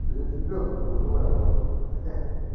я тебя только знаю братан